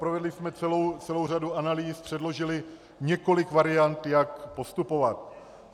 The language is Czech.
Provedli jsme celou řadu analýz, předložili několik variant, jak postupovat.